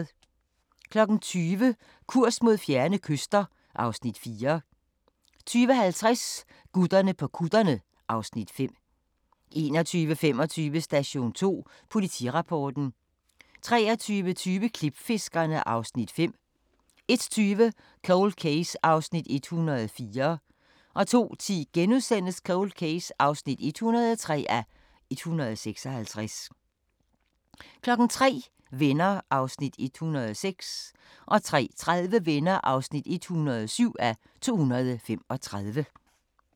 20:00: Kurs mod fjerne kyster (Afs. 4) 20:50: Gutterne på kutterne (Afs. 5) 21:25: Station 2 Politirapporten 23:20: Klipfiskerne (Afs. 5) 01:20: Cold Case (104:156) 02:10: Cold Case (103:156)* 03:00: Venner (106:235) 03:30: Venner (107:235)